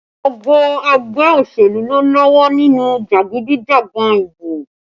Gbogbo ẹgbẹ́ òṣèlú ló lọ́wọ́ nínú jagidijagan ìbò